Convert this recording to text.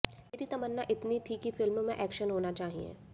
मेरी तमन्ना बस इतनी थी कि फिल्म में एक्शन होना चाहिए